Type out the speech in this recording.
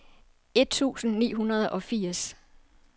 et tusind ni hundrede og firs